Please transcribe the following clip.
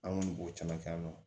An kɔni b'o caman kɛ yan nɔ